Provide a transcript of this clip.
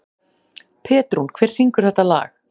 Petrún, hver syngur þetta lag?